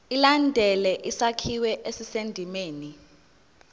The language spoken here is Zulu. ilandele isakhiwo esisendimeni